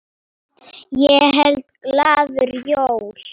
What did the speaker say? Ég held glaður jól.